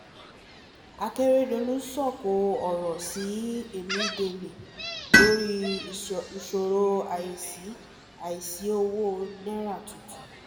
akérèdọ́lù sọ̀kò ọ̀rọ̀ sí em·del·e lórí ìṣòro àìsí àìsí owó náírà tuntun